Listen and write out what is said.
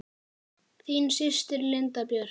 Þín systir, Linda Björk.